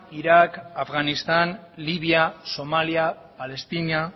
irak afganistan libia somalia palestina